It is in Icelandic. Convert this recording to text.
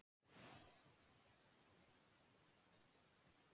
Maður má þá kveljast og naga sig í handarbökin þangað til!